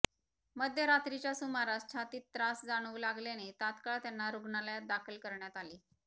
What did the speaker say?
मध्यरात्रीच्या सुमारास छातीत त्रास जाणवू लागल्याने तात्काळ त्यांना रुग्णालयात दाखल करण्यात आले